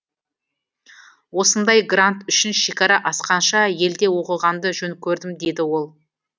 осындай грант үшін шекара асқанша елде оқығанды жөн көрдім дейді ол